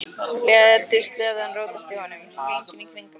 Létu sleðann rótast í honum, hringinn í kringum hann.